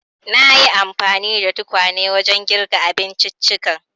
Nayi anfani da tukwanen wajen girka abinciccikan.